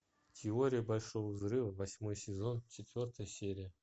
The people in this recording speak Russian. теория большого взрыва восьмой сезон четвертая серия